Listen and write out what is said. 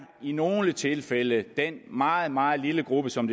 i nogle tilfælde den meget meget lille gruppe som